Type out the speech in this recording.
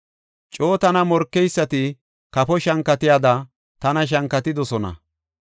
Coo tana morkeysati kafo shankatiyada tana shankatidosona.